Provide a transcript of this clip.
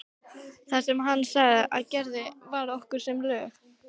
Það sem hann sagði og gerði var okkur sem lög.